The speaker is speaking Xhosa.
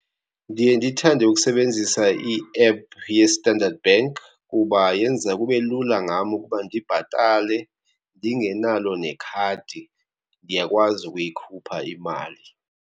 Ndiye ndithande ukusebenzisa i-app yeStandard Bank kuba yenza kube lula ngam ukuba ndibhatale. Ndingenalo nekhadi ndiyakwazi ukuyikhupha imali.